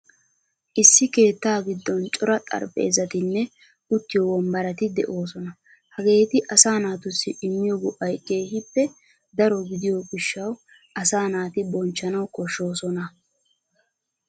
Issi keettaa giddon cora xarphpheezatinne uttiyo wonbbarati de'oosona, hageeti asaa natussi immiyo go'ay keehippe daro gidiyo gishshawu asaa naati bochchana koshshoosona.